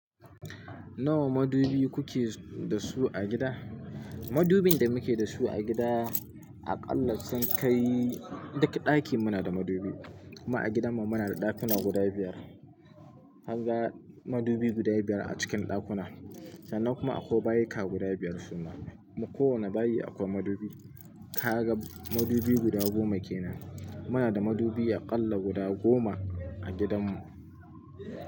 Nawa madubi kuke da su a gida? Madubin da muke da su a gida aƙalla sun kai duka ɗaki muna da madubi. Kuma a gidanmu muna da ɗakuna guda biyar. Anga madubi guda biyar a cikin ɗakuna. Sannan kuma akwai bayuka guda biyar su na, ko wane bayi akwai madubi. Ka ga madubi guda goma kenan. Muna da madubi aƙalla guda goma a gidanmu.